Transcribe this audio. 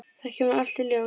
Það kemur allt í ljós.